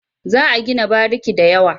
Za a gina bariki da yawa.